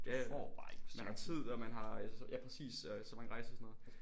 Ja man har tid og man har ja præcis så mange rejser og sådan noget